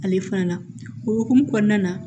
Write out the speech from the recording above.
Ale fana o hokumu kɔnɔna na